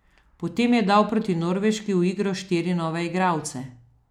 Potem je dal proti Norveški v igro štiri nove igralce.